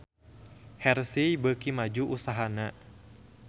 Hershey beuki maju usahana